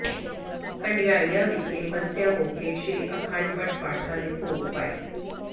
ਹੰਡਿਆਇਆ ਵਿਖੇ ਮੱਸਿਆ ਮੌਕੇ ਸ੍ਰੀ ਅਖੰਡ ਪਾਠਾਂ ਦੇ ਭੋਗ ਪਾਏ